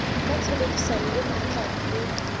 ka tshebedisano e matla le